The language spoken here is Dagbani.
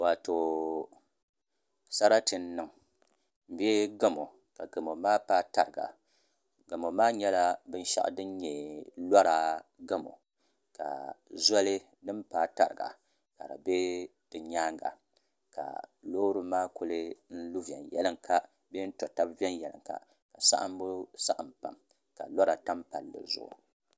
Waato sarati n niŋ bee gamo ka gamo maa paai tariga gamo maa nyɛla binshaɣu din nyɛ lora gamo ka zoli din paai tariga ka di bɛ di nyaanga ka loori maa kuli lu viɛnyɛlinga bee n to tabi viɛnyɛlinga ka saɣambu saɣam pam ka lora tam palli zuɣu